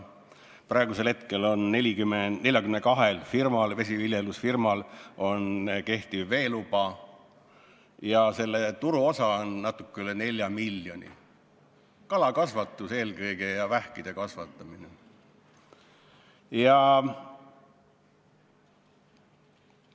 Praegu on 42 vesiviljelusfirmal kehtiv veeluba, turuosa on natuke üle 4 miljoni, eelkõige tegeldakse kalakasvatuse ja vähkide kasvatamisega.